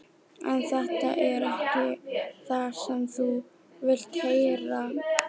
En þetta er ekki það sem þú vilt heyra.